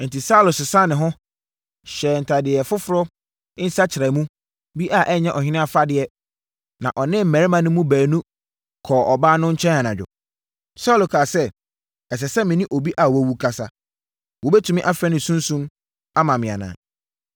Enti, Saulo sesaa ne ho, hyɛɛ ntadeɛ afoforɔ nsakyeramu bi a ɛnyɛ ɔhene afadeɛ, na ɔne mmarima no mu baanu kɔɔ ɔbaa no nkyɛn anadwo. Saulo kaa sɛ, “Ɛsɛ sɛ me ne obi a wawu kasa. Wobɛtumi afrɛ ne sunsum ama me anaa?”